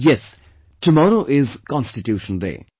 Yes, tomorrow is the Constitution Day